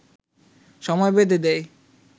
সময় বেঁধে দেয়